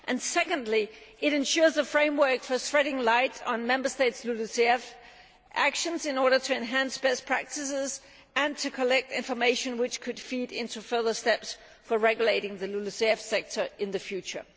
Secondly, it ensures the framework for shedding light on Member States' LULUCF actions in order to enhance best practices and to collect information which could feed into further steps for regulating the LULUCF sector in the future.